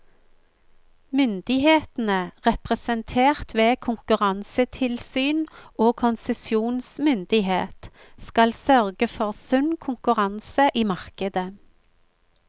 Myndighetene, representert ved konkurransetilsyn og konsesjonsmyndighet, skal sørge for sunn konkurranse i markedet.